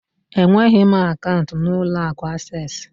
Enweghị m akaụntụ n'ụlọ akụ Asés